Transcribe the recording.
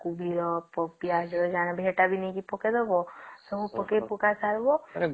କୋବି ର ପିଆଜ ର ଜାଣିବା ସେତ ବି ନେଇକି ପକେଇ ଦବ ସବୁ ପକା ପକୀ ସାରିବା